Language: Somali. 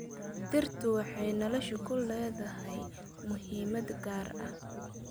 Dhirtu waxay nolosha ku leedahay muhiimad gaar ah.